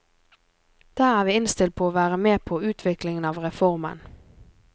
Der er vi innstilt på å være med på utviklingen av reformen.